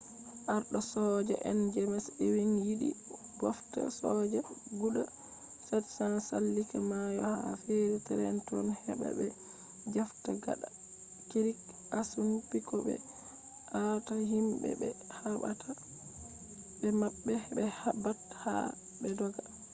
arɗo soja en jems ewing yiɗi ɓofta soja guda 700 sallika mayo ha feri trenton heɓa ɓe jafta gada krik assunpik bo ɓe aata himɓe ɓe haɓata be maɓɓe he ɓat aa be dogga